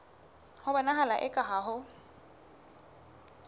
ho bonahala eka ha ho